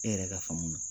E yɛrɛ ka faamu na